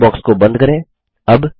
dialogue box को बंद करें